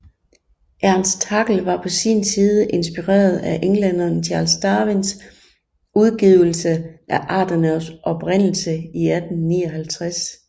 Ernst Haeckel var på sin side inspireret af englænderen Charles Darwins udgivelse af Arternes Oprindelse i 1859